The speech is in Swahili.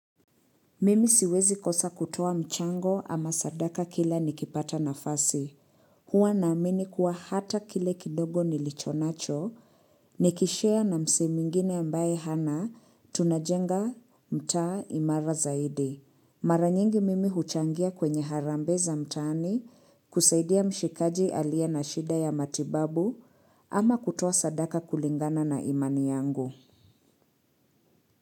Mimi siwezi kosa kutoa mchango ama sadaka kila nikipata nafasi. Huwa naamini kuwa hata kile kidogo nilichonacho, nikishare na msee mwingine ambaye hana tunajenga mtaa imara zaidi. Mara nyingi mimi huchangia kwenye harambee za mtaani kusaidia mshikaji aliye na shida ya matibabu ama kutoa sadaka kulingana na imani yangu.